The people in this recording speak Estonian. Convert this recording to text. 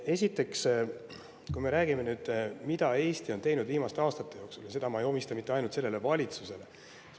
Esiteks, räägime nüüd sellest, mida Eesti on teinud viimaste aastate jooksul, kusjuures ma ei omista kõike seda mitte ainult sellele valitsusele.